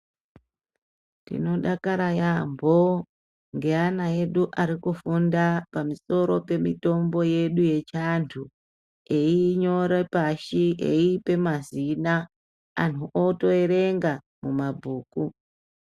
Tino dakara yambo nge ana edu ari kufunda pamusoro pe mitombo yedu yechi antu eyi nyore pashi eyipe mazina anhu oto erenga mu mabhuku.